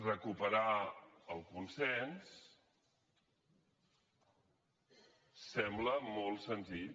recuperar el consens sembla molt senzill